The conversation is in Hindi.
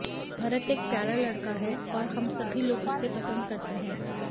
भरत एक प्यारा लड़का है और हमसभी लोग उसे पसंद करते हैं